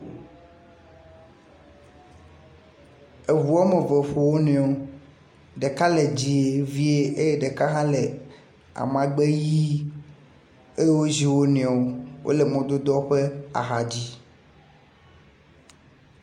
Eŋu eme eve ƒo wo nɔewo. Ɖeka le dzɛ̃e vie eye ɖeka hã le amagbe ʋie eye wozi wo nɔewo. Wole mɔdodoa ƒe axadzi.